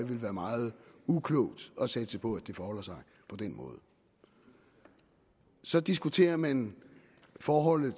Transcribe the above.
vil være meget uklogt at satse på forholder sig på den måde så diskuterer man forholdet